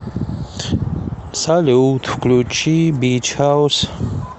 салют включи бич хаус